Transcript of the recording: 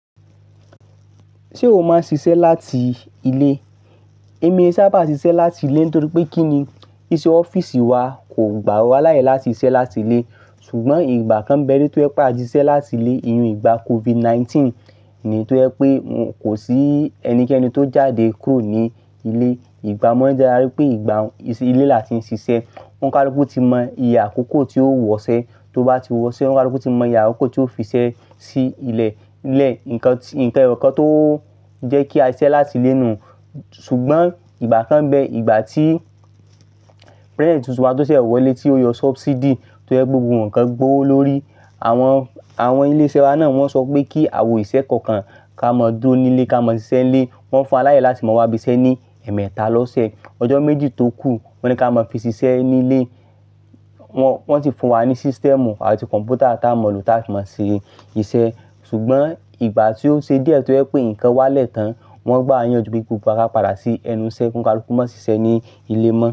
Ṣé o máa ń ṣiṣẹ́ láti ilé? Èmi sábà ṣiṣẹ́ láti ilé nítorí pé kí ni, iṣẹ́ ọ́fíìsì wa kò gbà wa láyè láti ṣiṣẹ́ láti ilé. Ṣùgbọ́n ìgbà kan bẹ̀ ri tó jẹ pàtísiṣẹ́ láti ilé, ìyun ìgbà COVID-19 ni tó ń jẹ́ pé kò sí ẹnikẹ́ni tó jáde kúrò ní ilé. Ìgbà mọ́ ẹ dára rí pé ìgbà i se ilé la ti ń ṣiṣẹ́. Ọ̀nkàlùkù tí mọ iyè àkókò tí ó wọṣẹ́, tó bá ti wọ́ṣẹ́ ọnkalukú ti mọ iyè àkókò tí ó fiṣẹ́ sí ilẹ̀. Ní ilẹ̀, ǹkan ìkàn-nǹkan ẹyọkan tó ń jẹ́ kí a ṣiṣẹ́ láti ilé nù. Ṣùgbọ́n ìgbà kan bẹ, ìgbà tí President tuntun wa tó ṣẹ wọlé tí ó yọ subsidy tó jẹ́ gbogbo ǹkan gbówo lórí. Àwọn, àwọn ilé iṣẹ́ wa náà wọ́n sọ pé kí àwọn òṣìṣẹ́ kọ̀ọ̀kan ká mọ dúró nílé, ká mọ ṣiṣẹ́ nílé. Wọn fún wa láyè láti máa wá bí iṣẹ́ ní ẹ̀ẹ̀mẹta lọ́sẹ̀. Ọjọ́ méjì tó kù, wọ́n ní ká mọ fi ṣiṣẹ́ nílé. Wọn ti fún wa ní system àti computer tá a mọ̀ ló tá a fì máa ṣe iṣẹ́. Ṣùgbọ́n ìgbà tí ó ṣe díẹ̀ tó jẹ́ pé ǹkan wá lẹ́tàn. Wọn gbá a yanjú pé gbogbo wa ká padà sí ẹnu iṣẹ́, ọnkalukú má ṣiṣẹ́ ní ilé mọ́